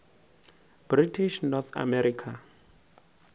british north america